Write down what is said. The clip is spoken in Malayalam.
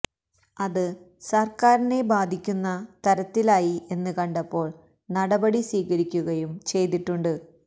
അത് സര്ക്കാരിനെ ബാധിക്കുന്ന തരത്തിലായി എന്ന് കണ്ടപ്പോള് നടപടി സ്വീകരിക്കുകയും ചെയ്തിട്ടുണ്ട്